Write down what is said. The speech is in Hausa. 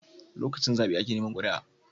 Lokacin zabe ake Neman kuria